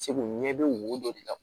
Segu ɲɛ bɛ wo dɔ de la